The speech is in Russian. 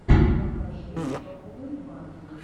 покажи топовые батл